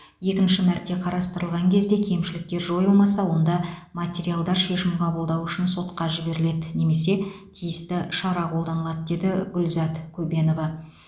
екінші мәрте қарастырылған кезде кемшіліктер жойылмаса онда материалдар шешім қабылдау үшін сотқа жіберіледі немесе тиісті шара қолданылады деді гүлзат көбенова